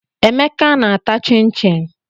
Emeka na-ata chịn chịn.